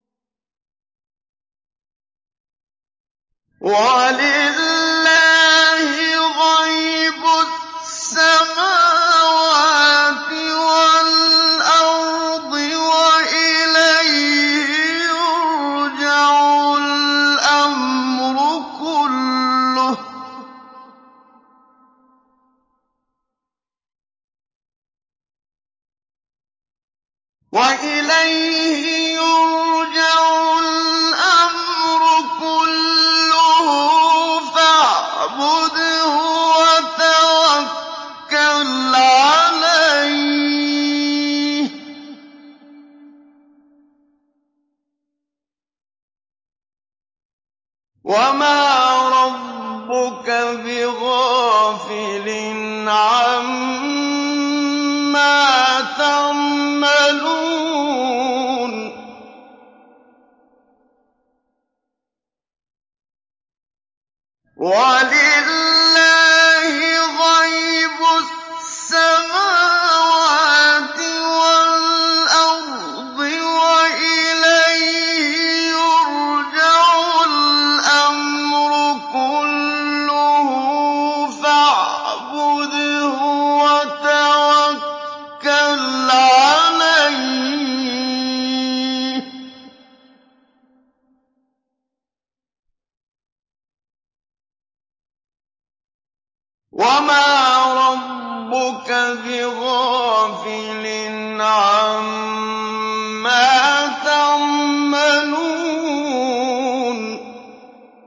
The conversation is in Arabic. وَلِلَّهِ غَيْبُ السَّمَاوَاتِ وَالْأَرْضِ وَإِلَيْهِ يُرْجَعُ الْأَمْرُ كُلُّهُ فَاعْبُدْهُ وَتَوَكَّلْ عَلَيْهِ ۚ وَمَا رَبُّكَ بِغَافِلٍ عَمَّا تَعْمَلُونَ